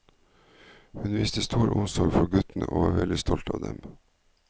Hun viste stor omsorg for guttene og var veldig stolt av dem.